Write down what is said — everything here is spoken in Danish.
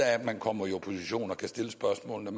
af at man kommer i opposition og kan stille spørgsmålene